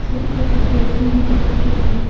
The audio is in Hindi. छोटी छोटी बैटरी भी दिख रही है।